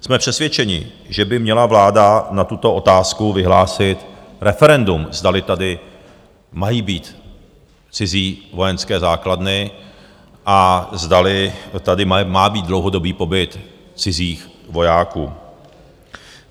Jsme přesvědčeni, že by měla vláda na tuto otázku vyhlásit referendum, zdali tady mají být cizí vojenské základny a zdali tady má být dlouhodobý pobyt cizích vojáků.